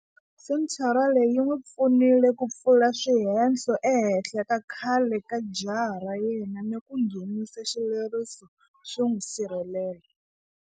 Senthara leyi yi n'wi pfunile ku pfula swihehlo ehenhla ka khale ka jaha ra yena ni ku nghenisa xileriso xo n'wi sirhelela.